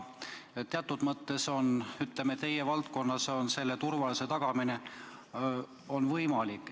Teatud mõttes on teie valdkonnas turvalisuse tagamine võimalik.